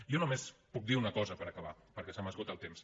jo només puc dir una cosa per acabar perquè se m’esgota el temps